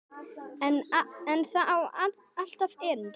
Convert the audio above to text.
En það á alltaf erindi.